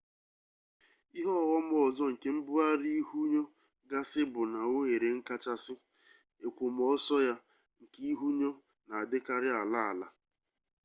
ihe ọghọm ọzọ nke mbugharị ihunyo gasị bụ na oghere nkachasị èkwòmọsọ ya nke ihunyo na-adịkarị ala ala